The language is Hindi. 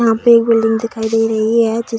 यहां पे एक बिल्डिंग दिखाई दे रही है जिस --